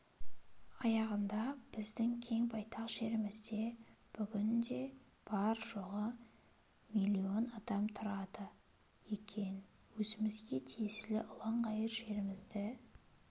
аяғында біздің кең байтақ жерімізде бүгінде бар-жоғы миллион адам тұрады екен өзімізге тиесілі ұланғайыр жерімізді